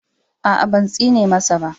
A a, ban tsine masa ba.